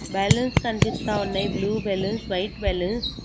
Balloons కనిపిస్తా ఉన్నాయి blue balloons white balloons .